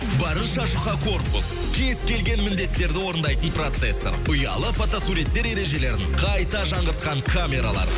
барынша жұқа корпус кез келген міндеттерді орындайтын процессор ұялы фотосуреттер ержелерін қайта жаңғыртқан камералар